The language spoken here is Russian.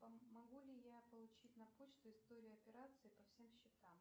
могу ли я получить на почту историю операций по всем счетам